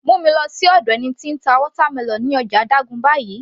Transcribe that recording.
Mú mi lọ sí ọ̀dọ̀ ẹni tí ó ń ta watermelon ní ọjà Dugan báyìí